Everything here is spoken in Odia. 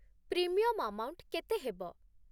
ପ୍ରିମିୟମ୍ ଆମାଉଣ୍ଟ କେତେ ହେବ?